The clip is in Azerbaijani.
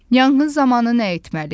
Yanğın zamanı nə etməli?